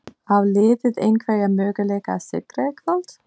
Á liðið einhverja möguleika á sigri í kvöld?